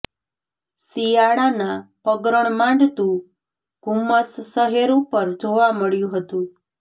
શિયાળાના પગરણ માંડતું ધુમ્મસ શહેર ઉપર જોવા મળ્યું હતું